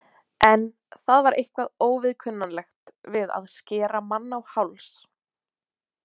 En það var eitthvað óviðkunnanlegt við að skera mann á háls.